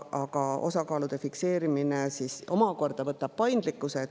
Aga osakaalude fikseerimine omakorda võtab paindlikkuse.